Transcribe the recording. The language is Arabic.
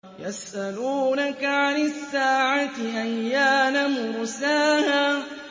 يَسْأَلُونَكَ عَنِ السَّاعَةِ أَيَّانَ مُرْسَاهَا